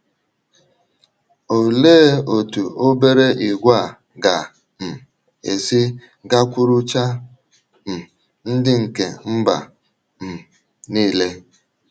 Olee otú obere ìgwè a ga um - esi gakwuruchaa “ um ndị nke mba um nile ”?